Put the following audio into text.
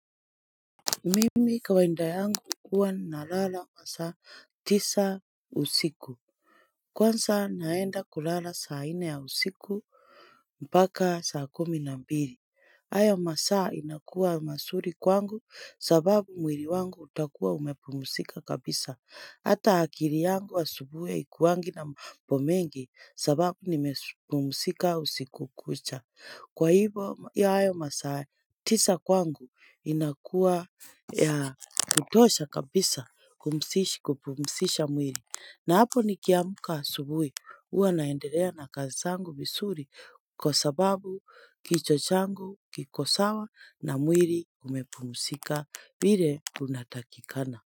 Mimi kawaida yangu huwa na lala masaa tisa usiku Kwanza naenda kulala saa nne ya usiku mpaka saa kumi na mbili hayo masaa inakuwa mazuri kwangu sababu mwili wangu utakuwa umepumzika kabisa Hata akili yangu wa asubuhi ya haikuwangi na mambo mengi sababu nimepumzika usiku kucha Kwa hivo ya hayo masaa, tisa kwangu inakua ya kitosha kabisa kumusishi kupumusisha mwili. Na hapo ni kiamuka asubuhi huwa naendelea na kazi zangu vizuri kwa sababu kichwa changu kikosawa na mwili umepumzika vile unatakikana.